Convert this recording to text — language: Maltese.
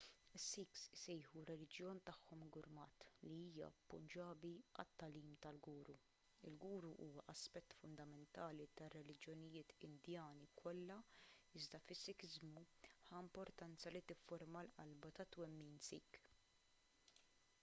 is-sikhs isejħu r-reliġjon tagħhom gurmat li hija punġabi għal it-tagħlim tal-guru il-guru huwa aspett fundamentali tar-reliġjonijiet indjani kollha iżda fis-sikiżmu ħa importanza li tifforma l-qalba tat-twemmin sikh